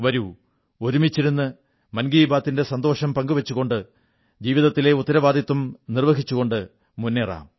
വരൂ ഒരുമിച്ചിരുന്ന് മൻ കീ ബാത്തി ന്റെ സന്തോഷം പങ്കുവച്ചുകൊണ്ട് ജീവിതത്തിലെ ഉത്തരവാദിത്തങ്ങളും നിർവ്വഹിച്ചു മുന്നേറാം